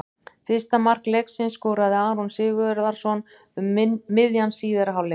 Fyrsta mark leiksins skoraði Aron Sigurðarson um miðjan síðari hálfleik.